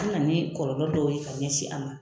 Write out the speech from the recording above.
An na ni kɔlɔlɔ dɔw ye ka ɲɛsin a ma